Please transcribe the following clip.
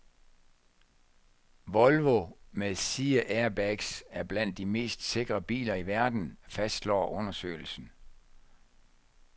Volvo med sideairbags er blandt de mest sikre biler i verden, fastslår undersøgelsen.